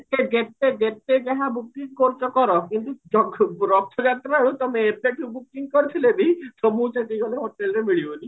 ଯେତେ ଯେତେ ଯେତେ ଯାହା booking କରୁଚ କର କିନ୍ତୁ ରଥ ଯାତ୍ରାରେ ତମେ ଏବେଠୁ booking କରିଥିଲେ ବି ଆତ୍ମାକୁ ସେଠିଗଲେ hotel ମିଳିବନି